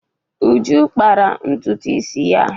Uju kpara ntutu isi ya.